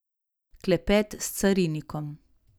Klepet s carinikom.